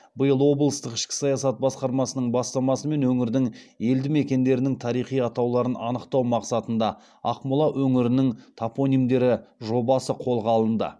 биыл облыстық ішкі саясат басқармасының бастамасымен өңірдің елді мекендерінің тарихи атауларын анықтау мақсатында ақмола өңірінің топонимдері жобасы қолға алынды